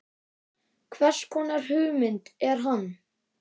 Hvers konar hugmynd er hann?